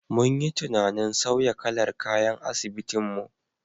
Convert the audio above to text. Mun yi tunanin sauya kalar kayan asibitin mu.